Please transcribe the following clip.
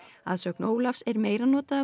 að sögn Ólafs er meira notað af